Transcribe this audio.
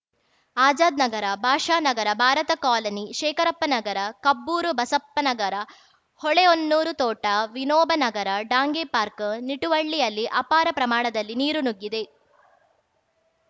Azad Nagar Basha Nagar Bharat colony Shekarappa Nagar Kabbur Basappa Nagar Holehonnur ತೋಟ Vinoba Nagar Dange park ನಿಟುವಳ್ಳಿಯಲ್ಲಿ ಅಪಾರ ಪ್ರಮಾಣದಲ್ಲಿ ನೀರು ನುಗ್ಗಿದೆ